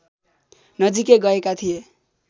नजिकै गएका थिए